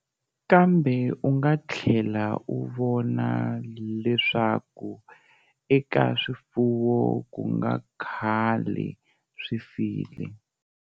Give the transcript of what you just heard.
Kambe u nga tlhela u vona leswaku eka swifuwo ku nga khale swi file.